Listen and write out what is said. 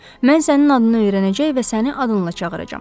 Mən sənin adını öyrənəcək və səni adınla çağıracağam.